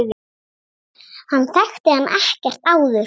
Hann þekkti hann ekkert áður.